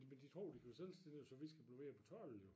Men de tror de kan blive selvstændige og så vi skal blive ved at betale jo